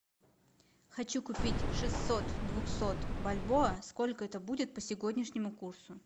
хочу купить шестьсот двухсот бальбоа сколько это будет по сегодняшнему курсу